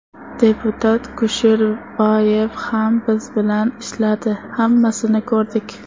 Deputat Kusherbayev ham biz bilan ishladi, hammasini ko‘rdik.